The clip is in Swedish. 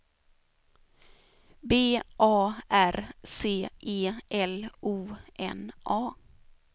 B A R C E L O N A